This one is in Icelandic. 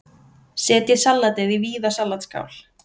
Setjið salatið í víða salatskál.